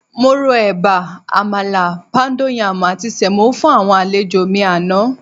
Mo ro ẹ̀bà, àmàlà, póúndó yaàmù àti sẹ̀mó fún àwọn àlejò mi àná.